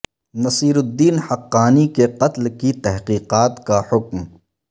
نصیر الدین حقانی کے قتل کی تحقیقات کا حکم